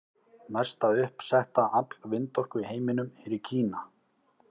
Mesta uppsetta afl vindorku í heiminum er í Kína.